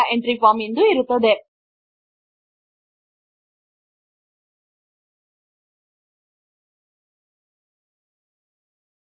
ನಾವು ಈಗ ನಮ್ಮ ಮೊದಲ ಸರಳ ಫಾರ್ಮ್ ಅನ್ನು ಕ್ರಿಯೇಟ್ ಮಾಡಿದ್ದೇವೆ